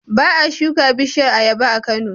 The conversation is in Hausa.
Ba a shuka bishiyar ayaba a Kano,